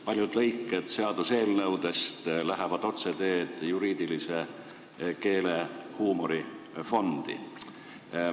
Paljud lõiked seaduseelnõudest lähevad otseteed juriidilise keele huumori fondi.